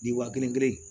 Ji wa kelen kelen